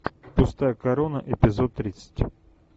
пустая корона эпизод тридцать